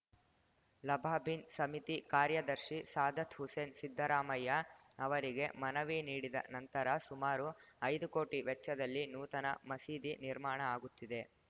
ಲಬಾಬಿನ್‌ ಸಮಿತಿ ಕಾರ್ಯದರ್ಶಿ ಸಾದತ್‌ ಹುಸೇನ್‌ ಸಿದ್ದರಾಮಯ್ಯ ಅವರಿಗೆ ಮನವಿ ನೀಡಿದ ನಂತರ ಸುಮಾರು ಐದು ಕೋಟಿ ವೆಚ್ಚದಲ್ಲಿ ನೂತನ ಮಸೀದಿ ನಿರ್ಮಾಣ ಆಗುತ್ತಿದೆ